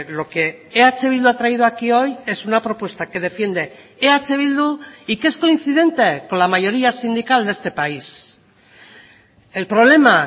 lo que eh bildu ha traído aquí hoy es una propuesta que defiende eh bildu y que es coincidente con la mayoría sindical de este país el problema